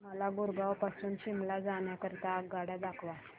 मला गुरगाव पासून शिमला जाण्या करीता आगगाड्या दाखवा